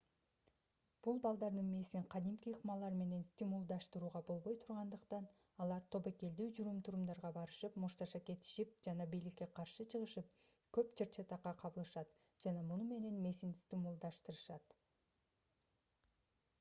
бул балдардын мээсин кадимки ыкмалар менен стимулдаштырууга болбой тургандыктан алар тобокелдүү жүрүм-турумдарга барышып мушташа кетишип жана бийликке каршы чыгышып көп чыр-чатакка кабылышат жана муну менен мээсин стимулдаштырышат